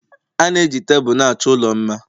Ana eji Tebụl na-achọ ụlọ mma